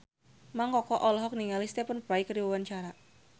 Mang Koko olohok ningali Stephen Fry keur diwawancara